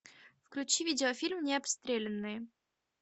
включи видеофильм необстрелянные